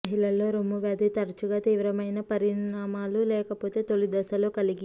మహిళల్లో రొమ్ము వ్యాధి తరచుగా తీవ్రమైన పరిణామాలు లేకపోతే తొలిదశలో కలిగి